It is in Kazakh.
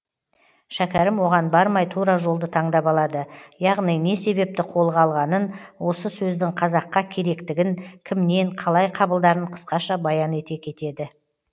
шәкәрім оған бармай тура жолды таңдап алады яғни не себепті қолға алғанын осы сөздің қазаққа керектігін кімнен қалай қабылдарын қысқаша баян ете кетеді